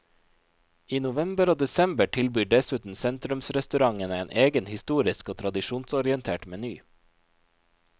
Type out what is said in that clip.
I november og desember tilbyr dessuten sentrumsrestaurantene en egen historisk og tradisjonsorientert meny.